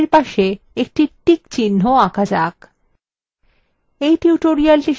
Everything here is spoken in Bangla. প্রথম বিষয়টির পাশে একটি tick চিহ্ন আঁকা যাক